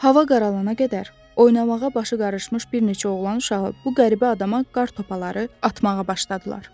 Hava qaralana qədər oynamağa başı qarışmış bir neçə oğlan uşağı bu qəribə adama qar topaları atmağa başladılar.